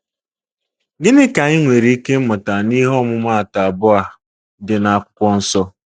Gịnị ka anyị nwere ike ịmụta n’ihe ọmụmaatụ abụọ a dị na Akwụkwọ Nsọ?